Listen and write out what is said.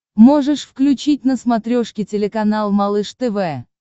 можешь включить на смотрешке телеканал малыш тв